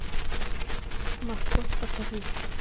морковь по корейски